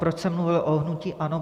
Proč jsem mluvil o hnutí ANO?